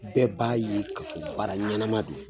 Bɛɛ b'a ye ka fɔ baara ɲɛnama don